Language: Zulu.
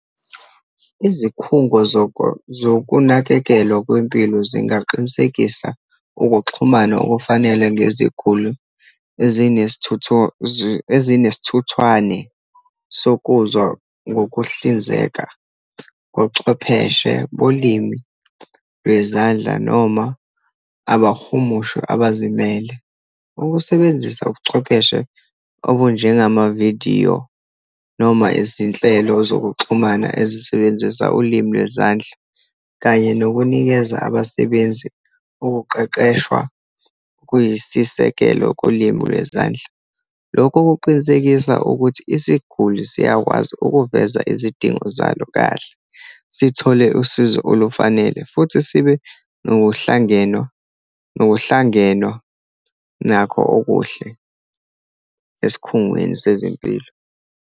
Izikhungo zokunakekelwa kwempilo zingaqinisekisa ukuxhumana okufanele ngeziguli ezinesithuthwane sokuzwa ngokuhlinzeka kochwepheshe bolimi lwezandla, noma abahumusha abazimele. Ukusebenzisa ubuchwepheshe obunjengamavidiyo, noma izinhlelo zokuxhumana ezisebenzisa ulimi lwezandla, kanye nokunikeza abasebenzi ukuqeqeshwa, kuyisisekelo kulimi lwezandla. Lokhu kuqinisekisa ukuthi isiguli siyakwazi ukuveza izidingo zalo kahle, sithole usizo olufanele, futhi sibe nokuhlangenwa, nokuhlangenwa nakho okuhle esikhungweni sezempilo.